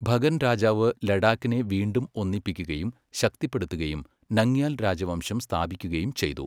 ഭഗൻ രാജാവ് ലഡാക്കിനെ വീണ്ടും ഒന്നിപ്പിക്കുകയും ശക്തിപ്പെടുത്തുകയും നംഗ്യാൽ രാജവംശം സ്ഥാപിക്കുകയും ചെയ്തു.